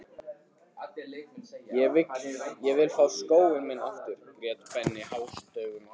Ég vil fá skóinn minn aftur grét Benni hástöfum.